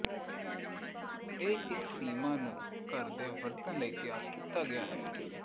ਇਹ ਇਸ ਸੀਮਾ ਨੂੰ ਘਰ ਦੇ ਵਰਤਣ ਲਈ ਤਿਆਰ ਕੀਤਾ ਗਿਆ ਹੈ